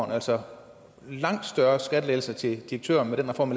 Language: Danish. altså en langt større skattelettelse til direktøren med den reform